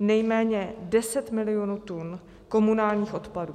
nejméně 10 milionů tun komunálních odpadů.